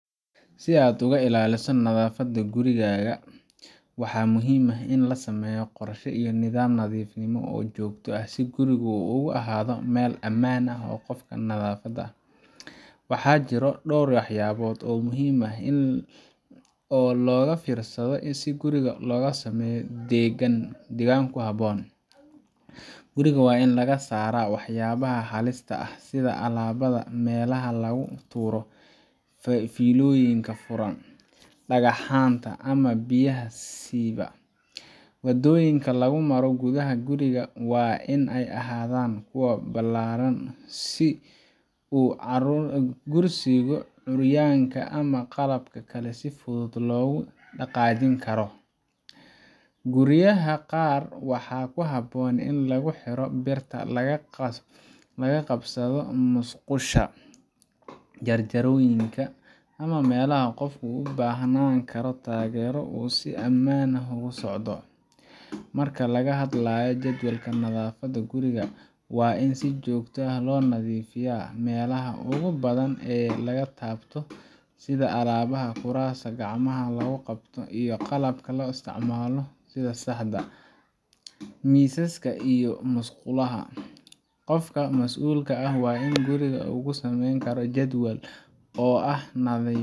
Si aad uga ilaaliso naafada gurigaaga, waxaa muhiim ah in la sameeyo qorshe iyo nidaam nadiifnimo oo joogto ah si gurigu ugu ahaado meel ammaan u ah qofka naafada ah. Waxaa jira dhowr waxyaabood oo muhiim ah oo laga fiirsado si guriga loogu sameeyo deegaan ku habboon: Guriga waa in laga saaraa waxyaabaha halista ah sida alaabda meelaha lagu tuuro, fiilooyinka furan, dhagaxaanta, ama biyaha siibaya. Waddooyinka lagu maro gudaha guriga waa in ay ahaadaan furan oo ballaaran si kursiga curyaanka ama qalab kale si fudud loogu dhaqaajin karo. Guryaha qaar waxaa habboon in lagu xiro birta laga qabsado musqulaha, jaranjarooyinka, ama meelaha qofku u baahan karo taageero si uu si ammaan ah ugu socdo. Marka laga hadlayo jadwalka nadaafadda guriga, waa in si joogto ah loo nadiifiyaa meelaha ugu badan ee la taabto sida albaabada, kuraasta, gacmaha lagu qabto, iyo qalabka la isticmaalo sida saxamada, miisaska, iyo musqulaha. Qofka mas'uulka ka ah guriga waxa uu sameyn karaa jadwal oo ah nadiifin